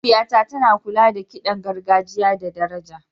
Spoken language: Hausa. Mahaifiyata tana kula da kiɗan gargajiya da daraja.